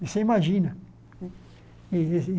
Você imagina. E e e